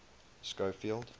schofield